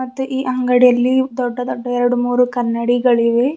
ಮತ್ತು ಈ ಅಂಗಡಿಯಲ್ಲಿ ದೊಡ್ಡ ದೊಡ್ಡ ಎರಡ್ಮೂರು ಕನ್ನಡಿಗಳಿವೆ.